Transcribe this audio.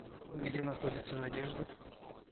где находится надежда